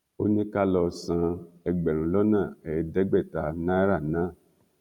ó ní ká lọ san ẹgbẹ̀rún lọ́nà ẹ̀ẹ́dẹ́gbẹ̀ta náírà náà